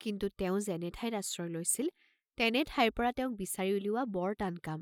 কিন্তু তেওঁ যেনে ঠাইত আশ্ৰয় লৈছিল তেনে ঠাইৰ পৰা তেওঁক বিচাৰি উলিওৱা বৰ টান কাম।